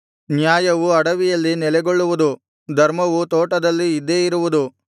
ನ್ಯಾಯವು ಅಡವಿಯಲ್ಲಿ ನೆಲೆಗೊಳ್ಳುವುದು ಧರ್ಮವು ತೋಟದಲ್ಲಿ ಇದ್ದೇ ಇರುವುದು